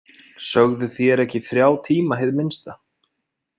Sögðuð þér ekki þrjá tíma hið minnsta?